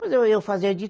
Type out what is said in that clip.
Pois eu, eu fazia de